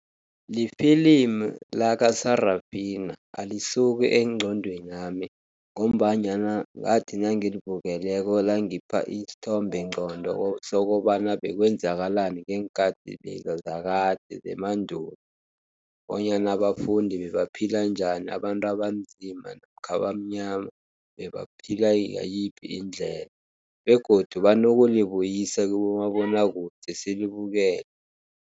Lifilimu lakaSarafina, alisuki engqondwenami ngombanyana ngathi nangilibukeleko langipha isithombe ngqondo sokobana bekwenzakalani ngeenkathi leza zakade zemandulo, bonyana abafundi bebaphila njani. Abantu abanzima namkha abamnyama bebaphila yiphi indlela, begodu banokulibuyisa kubomabonakude silibukele.